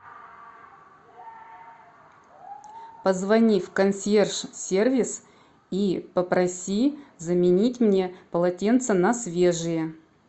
позвони в консьерж сервис и попроси заменить мне полотенца на свежие